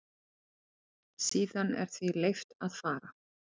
Síðan er því leyft að fara.